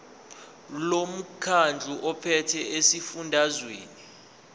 lomkhandlu ophethe esifundazweni